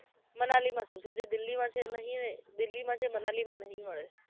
મનાલી નથી જવુ જે દિલ્હીમાં છે નહિ એ દિલ્હીમાં જે મનાલીમાં નહિ હવે